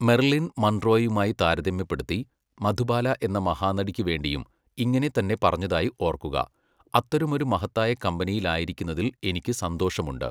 Merlin മൺറോയുമായി താരതമ്യപ്പെടുത്തി, മധുബാല എന്ന മഹാനടിക്ക് വേണ്ടിയും ഇങ്ങനെ തന്നെ പറഞ്ഞതായി ഓർക്കുക, അത്തരമൊരു മഹത്തായ കമ്പനിയിൽ ആയിരിക്കുന്നതിൽ എനിക്ക് സന്തോഷമുണ്ട്!